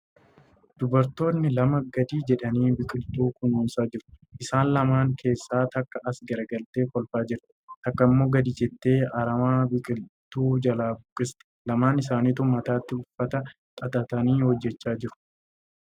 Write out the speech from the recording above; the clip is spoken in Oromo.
Dubartoonni lama gad jedhanii biqiltuu kunuunsaa jiru. Isaan lamaan keessa takka as garagaltee kolfaa jirti. Takka immoo gadi jettee aramaa biqiltuu jalaa buqqisti. Lamaan isaanituu mataatti uffata xaxatanii hojjachaa jiru.